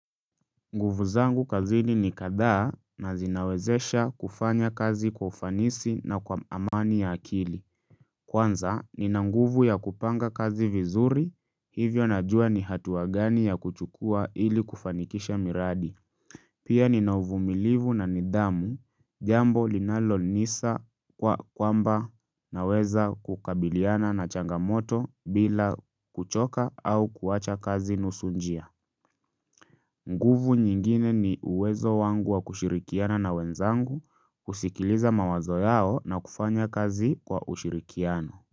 Nguvu zangu kazini ni kadhaa na zinawezesha kufanya kazi kwa ufanisi na kwa amani ya akili. Kwanza, nina nguvu ya kupanga kazi vizuri, hivyo najua ni hatua gani ya kuchukua ili kufanikisha miradi. Pia nina uvumilivu na nidhamu, jambo linalonisa kwa kwamba naweza kukabiliana na changamoto bila kuchoka au kuwacha kazi nusu njia. Nguvu nyingine ni uwezo wangu wa kushirikiana na wenzangu kusikiliza mawazo yao na kufanya kazi wa ushirikiano.